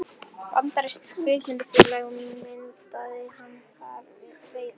Bandarískt kvikmyndafélag myndaði hann þar við veiðar.